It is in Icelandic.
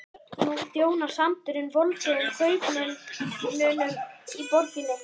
Nú þjónar sandurinn voldugum kaupmönnunum í borginni.